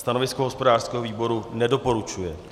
Stanovisko hospodářského výboru - nedoporučuje.